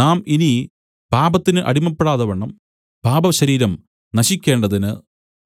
നാം ഇനി പാപത്തിന് അടിമപ്പെടാതവണ്ണം പാപശരീരം നശിക്കേണ്ടതിന്